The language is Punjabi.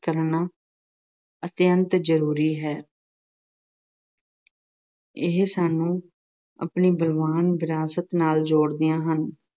ਕਰਨਾ ਅਤਿਅੰਤ ਜ਼ਰੂਰੀ ਹੈ। ਇਹ ਸਾਨੂੰ ਆਪਣੀ ਬਲਵਾਨ ਵਿਰਾਸਤ ਨਾਲ਼ ਜੋੜਦੀਆਂ ਹਨ।